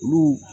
Olu